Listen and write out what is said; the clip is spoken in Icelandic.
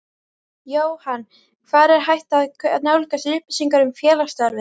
Jóhann: Hvar er hægt að nálgast upplýsingar um félagsstarfið?